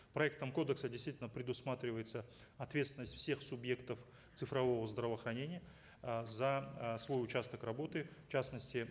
проектом кодекса действительно предусматривается ответственность всех субъектов цифрового здравоохранения э за э свой участок работы в частности